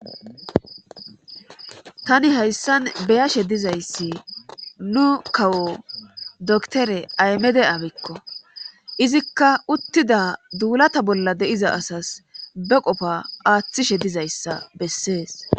tani hayssan beyashe dizayssi nu kawo doktore aymede abekko izikka uttida duulata bolla de7iza asas be qofa aaththishe dizayssa bessees